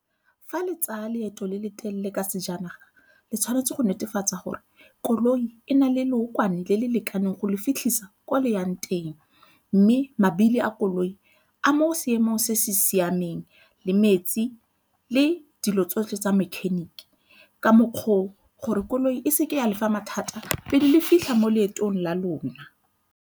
Fa le tsaya leeto le le telele ka sejanaga le tshwanetse go netefatsa gore koloi e na le lookwane le le lekaneng go le fitlhisa ko le yang teng mme mabili a koloi a mo seemong se se siameng le metsi le dilo tsotlhe tsa mechanic ka mokgwa o gore koloi e seke ya le fa mathata pele le fitlha mo leetong la lona.